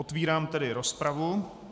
Otvírám tedy rozpravu.